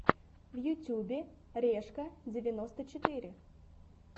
в ютьюбе решка девяносто четыре